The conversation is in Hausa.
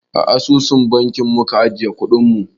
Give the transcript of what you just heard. A asusun banki muke ajiyar kuɗin mu